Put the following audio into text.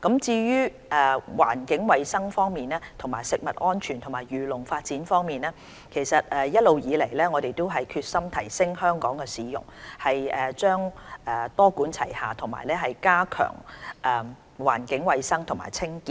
至於環境衞生、食物安全及漁農發展方面，一直以來，我們決心提升香港的市容，會多管齊下加強環境衞生和清潔。